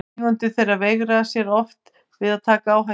Eigendur þeirra veigra sér oft við að taka áhættu.